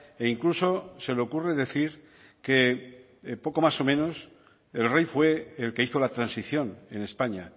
e incluso se le ocurre decir que poco más o menos el rey fue el que hizo la transición en españa